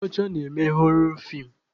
Ndị ọcha na-eme họrọ feem